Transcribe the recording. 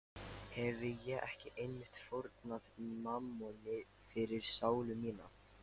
Hefi ég ekki einmitt fórnað mammoni fyrir sálu mína?